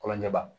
Kɔlɔnjɛba